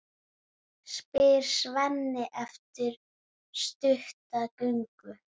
spyr Svenni eftir stutta göngu.